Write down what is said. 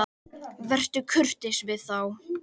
Vertu kurteis við þá!